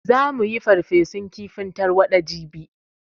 Za mu yi farfesun kifin tarwaɗa jibi